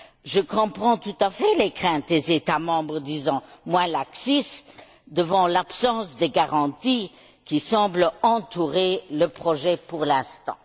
Je comprends tout à fait les craintes des États membres, disons, moins laxistes devant l'absence de garanties, qui semblent entourer le projet, pour l'instant.